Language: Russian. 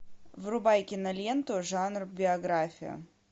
врубай киноленту жанр биография